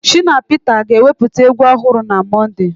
Shina Peter ga-ewepụta egwu ọhụrụ na Mọnde.